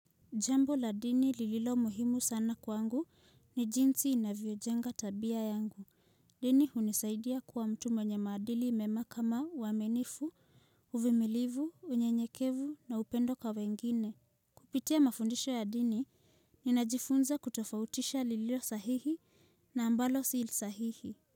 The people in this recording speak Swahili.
Jambo la dini lililo muhimu sana kwangu ni jinsi inavyojenga tabia yangu. Dini hunisaidia kuwa mtu mwenye maadili mema kama uaminifu, uvimilivu, unyenyekevu na upendo kwa wengine. Kupitia mafundisho ya dini, ninajifunza kutofautisha lililo sahihi na ambalo silsahihi.